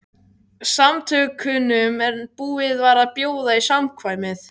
Samtökunum en búið var að bjóða í samkvæmið.